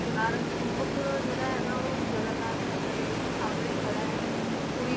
ਕੋਨਾਰਕ ਮੁੱਖ ਜਿਹੜਾ ਹੈਗਾ ਉਹ ਜਗਨਨਾਥ ਮੰਦਿਰ ਦੇ ਬਿਲਕੁਲ ਸਾਹਮਣੇ ਖੜਾ ਹੈ, ਪੁਰੀ